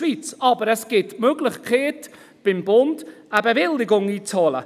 Aber es gibt die Möglichkeit, beim Bund eine Bewilligung einzuholen.